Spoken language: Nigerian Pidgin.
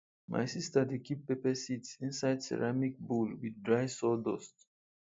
my sister dey keep pepper seeds inside ceramic bowl with dry sawdust